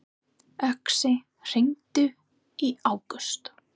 Uxi, hringdu í Ágúst.